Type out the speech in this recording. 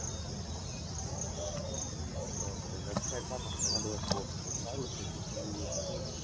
Okay website માં પણ ઘણા બધા scope છે સારું છે ક્યાંક જોઉં હોય તો જવાય.